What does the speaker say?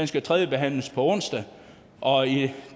skal tredjebehandles på onsdag og